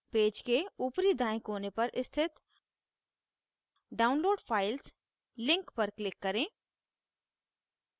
page के ऊपरी दायें कोने पर स्थित download files link पर click करें